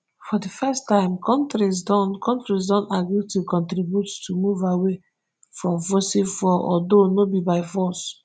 for di first tme kontris don kontris don agree to contribute to move away from fossil fuels although no be by force